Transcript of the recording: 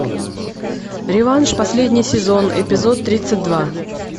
реванш последний сезон эпизод тридцать два